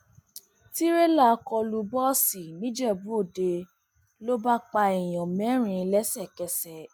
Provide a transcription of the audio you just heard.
tìrẹlà kọ lu bọọsì nìjẹbúọdẹ ló bá pa èèyàn mẹrin lẹsẹkẹsẹ